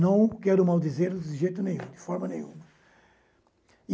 Não quero maldizê-los de jeito nenhum, de forma nenhuma.